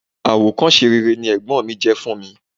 Àwòkọ́ṣe rere ni ẹ̀gbọ́n mi jẹ́ fún mi.